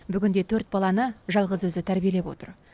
бүгінде төрт баланы жалғыз өзі тәрбиелеп отыр